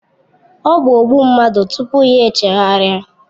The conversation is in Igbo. Ọ bụ ogbu mmadụ tupu ya chegharịa